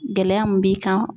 Gɛlɛya mun b'i kan